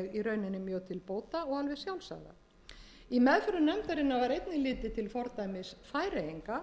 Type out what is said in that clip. í rauninni mjög til bóta og alveg sjálfsagða í meðförum nefndarinnar var einnig litið til fordæmis færeyinga